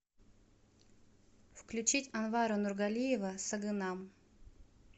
включить анвара нургалиева сагынам